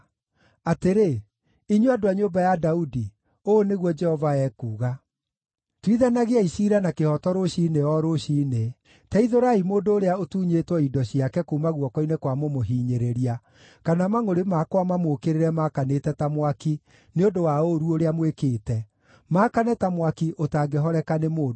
atĩrĩ, inyuĩ andũ a nyũmba ya Daudi, ũũ nĩguo Jehova ekuuga: “ ‘Tuithanagiai ciira na kĩhooto rũciinĩ o rũciinĩ; teithũrai mũndũ ũrĩa ũtunyĩtwo indo ciake kuuma guoko-inĩ kwa mũmũhinyĩrĩria, kana mangʼũrĩ makwa mamũũkĩrĩre maakanĩte ta mwaki nĩ ũndũ wa ũũru ũrĩa mwĩkĩte, maakane ta mwaki ũtangĩhoreka nĩ mũndũ.